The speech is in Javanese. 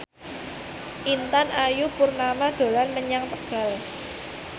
Intan Ayu Purnama dolan menyang Tegal